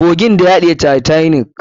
Kogin da ya haɗiye titanic.